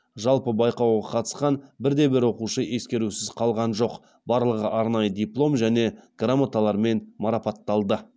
жалпы байқауға қатысқан бірде бір оқушы ескерусіз қалған жоқ барлығы арнайы диплом және грамоталармен марапатталды